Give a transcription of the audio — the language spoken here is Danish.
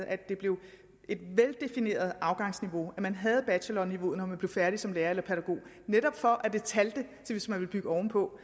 at det blev et veldefineret afgangsniveau at man havde bachelorniveauet når man blev færdig som lærer eller pædagog netop for at det talte hvis man ville bygge ovenpå